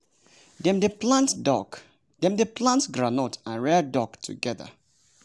dem dey plant groundnut and rear duck together.